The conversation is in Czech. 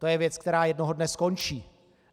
To je věc, která jednoho dne skončí.